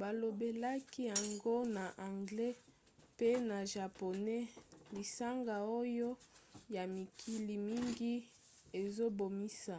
balobelaki yango na anglais pe na japonais lisanga oyo ya mikili mingi ezobimisa